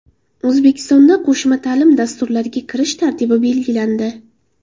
O‘zbekistonda qo‘shma ta’lim dasturlariga kirish tartibi belgilandi.